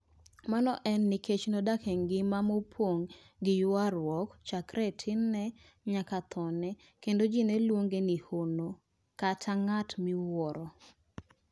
Mano en nikech nodak e ngima mopong' gi ywaruok chakre e tinne nyaka thone, kendo ji ne luonge ni 'Hono' (ng'at miwuoro).